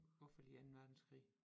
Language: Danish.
Hvorfor lige anden verdenskrig